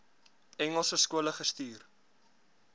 engelse skole gestuur